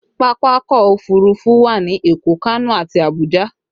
Pápákọ̀ òfurufú wà ní Èkó, Kano àti Abuja